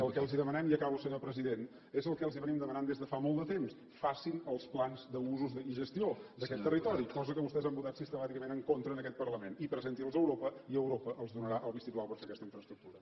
el que els demanem i acabo senyor president és el que els demanem des de fa molt de temps facin els plans d’usos i gestió d’aquest territori cosa que vostès han votat sistemàticament en contra en aquest parlament i presenti’ls a europa i europa els donarà el vistiplau per fer aquesta infraestructura